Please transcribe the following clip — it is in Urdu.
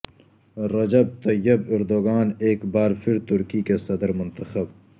رجب طیب اردگان ایک بار پھر ترکی کے صدر منتخب